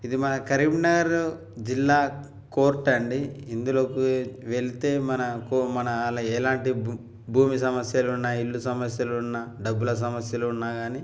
ఇది మన కరీంనగర్ జిల్లా కోర్టు అండీ ఇందులోకి వెళితే మనకు-మన ఎలాంటి భూమి సమస్యలు ఉన్న ఇల్లు సమస్యలు ఉన్న డబ్బులు సమస్యలు ఉన్నగాని --